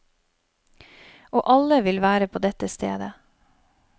Og alle vil være på dette stedet.